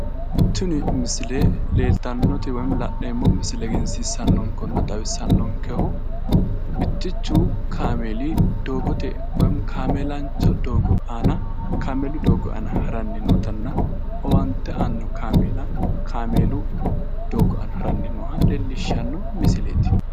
Tini misile leeltannoti woy la'neemmo misile egensiissannokehunna xawissannonkehu mittichu kameeli doogote woy kameelancho doogo aana kameelu doogo aana haranni nootanna owaante aanno kameela kameelu doogo aana haranni nooha leellishshanno misileeti